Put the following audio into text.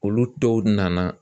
Olu dɔw nana